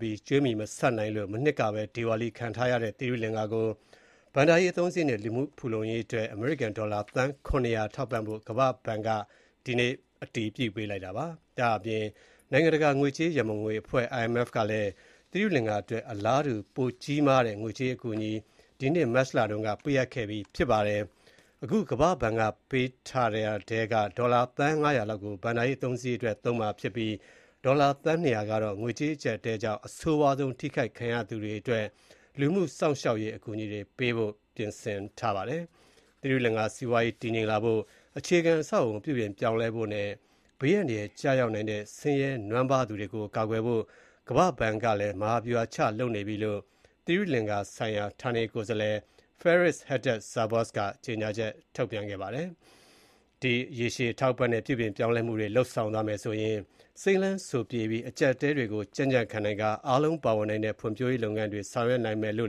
ပြီး ကြွေးမြီမဆပ်နိုင်တဲ့အတွက် ဒေဝါလီခံထားရတဲ့ သီရိလင်္ကာနိုင်ငံရဲ့ ဘဏ္ဍာရေးအသုံးစရိတ်နဲ့ လူမှုဖူလုံရေး အတွက် အမေရိကန် ဒေါ်လာ သန်း ၇၀၀ ထောက်ပံ့ဖို့ ကမ္ဘာ့ဘဏ်က ဒီနေ့ အတည်ပြုလိုက်ပါတယ်။ နိုင်ငံတကာ ငွေကြေးရံပုံငွေအဖွဲ့ IMF ကလည်း သီရိလင်္ကာအတွက် အလားတူ ငွေကြေး အကူအညီ ပြီးခဲ့တဲ့ မတ်လက ပေးအပ်ခဲ့ပြီး ဖြစ်ပါတယ်။ ဒေါ်လာ သန်း ၅၀၀ လောက်ကို ဘဏ္ဍာရေးအသုံးစရိတ်အတွက် သုံးမှာဖြစ်ပြီး ဒေါ်လာ သန်း ၂၀၀ ကတော့ ငွေကြေးအကြပ်အတည်းကြောင့် အဆိုးဝါးဆုံး ထိခိုက်ခဲ့ရသူတွေအတွက် လူမှုစောင့်ရှောက်ရေး အကူအညီပေးဖို့ ဖြစ်ပါတယ်။ သီရိလင်္ကလာရဲ့ စီးပွားရေး တည်ငြိမ်မှု ရှိလာဖို့၊ အခြေခံအဆောက်အအုံ ပြုပြင်ပြောင်းလဲဖို့နဲ့ ဆင်းရဲသားတွေ ဘေးအန္တရာက် ကျရောက်နိုင်တဲ့ နွမ်းပါးသူတွေကို ကာကွယ်ဖို့အတွက် ကမ္ဘာဘဏ်က ဗဟာဗျုဟာချ ဆောင်ရွက်နေတဲ့အကြောင်း သိရိလင်္ကာနိုင်ငံဆိုင်ရာ ဌာနေကိုယ်စားလှယ် Faris Hadad-Zervos က ကြေညာချက် ထုတ်ပြန်ပါတယ်။ ရေရှည်အထောက်အပံ့နဲ့ ပြုပြင်ပြောင်းလဲမှုတွေ လုပ်ဆောင်သွားမယ်ဆိုရင်၊ စိမ်းလမ်းစိုပြေတဲ့၊ အကြပ်အတည်းတွေကို ကြံ့ကြံ့ခံပြီး အားလုံးပါဝင်နိုင်တဲ့ ဖွံ့ဖြိုးရေးလုပ်ငန်းတွေ ဆောင်ရွက်နိုင်မယ်လိ